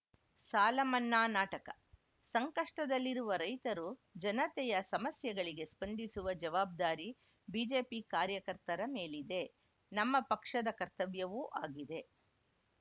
ಸಾಲ ಮನ್ನಾ ನಾಟಕ ಸಂಕಷ್ಟದಲ್ಲಿರುವ ರೈತರು ಜನತೆಯ ಸಮಸ್ಯೆಗಳಿಗೆ ಸ್ಪಂದಿಸುವ ಜವಾಬ್ದಾರಿ ಬಿಜೆಪಿ ಕಾರ್ಯಕರ್ತರ ಮೇಲಿದೆ ನಮ್ಮ ಪಕ್ಷದ ಕರ್ತವ್ಯವೂ ಆಗಿದೆ